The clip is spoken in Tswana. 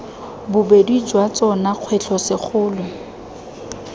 bobedi jwa tsona kgwetlho segolo